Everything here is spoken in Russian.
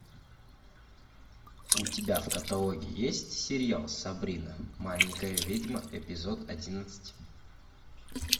у тебя в каталоге есть сериал сабрина маленькая ведьма эпизод одиннадцать